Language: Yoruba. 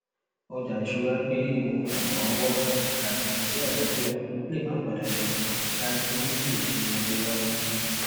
ọjà ìṣúra gbé ewu àtọrunwá àti iṣẹ àtijọ lè má pan dandan dánilójú esi ọjọ iwájú